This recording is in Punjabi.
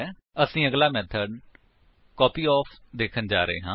ਅਸੀ ਅਗਲਾ ਮੇਥਡ ਕਾਪਯੋਫ ਦੇਖਣ ਜਾ ਰਹੇ ਹਾਂ